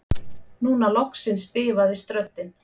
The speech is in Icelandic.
Núna loksins bifaðist röddin